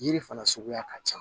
Yiri fana suguya ka ca